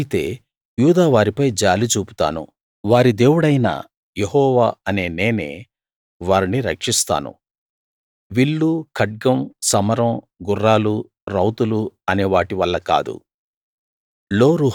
అయితే యూదావారిపై జాలి చూపుతాను వారి దేవుడైన యెహోవా అనే నేనే వారిని రక్షిస్తాను విల్లు ఖడ్గం సమరం గుర్రాలు రౌతులు అనే వాటి వల్ల కాదు